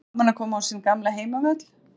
Var gaman að koma á sinn gamla heimavöll?